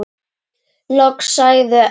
Loks sagði Örn.